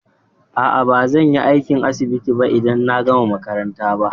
A'a, ba zan yi aiki a asibiti ba idan na gama makaranta ba.